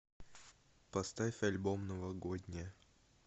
поставь альбом новогодняя